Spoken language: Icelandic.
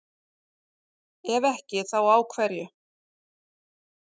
Ef ekki þá á hverju?